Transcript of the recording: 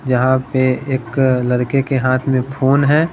जहां पे एक लड़के के हाथ में फोन है।